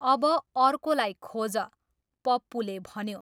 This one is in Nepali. अब अर्कोलाई खोज, पप्पुले भन्यो।